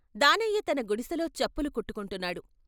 దానయ్య తన గుడిసెలో చెప్పులు కుట్టుకుంటున్నాడు.